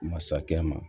Masakɛ ma